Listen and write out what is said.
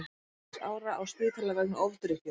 Sex ára á spítala vegna ofdrykkju